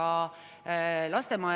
Aitäh, lugupeetud Riigikogu esimees!